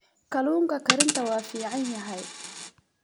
Kalluunka karinta waa fiican yahay.